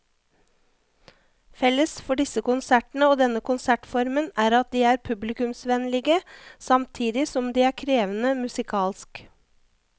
Felles for disse konsertene og denne konsertformen er at de er publikumsvennlige samtidig som de er krevende musikalsk.